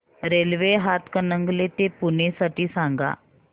railway Hatkanangale ते पुणे साठी सांगा